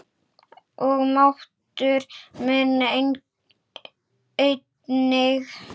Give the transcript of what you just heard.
Og máttur minn einnig.